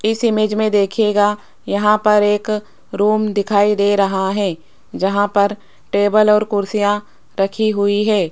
इस इमेज में दिखेगा यहां पर एक रूम दिखाई दे रहा है जहां पर टेबल और कुर्सियां रखी हुई है।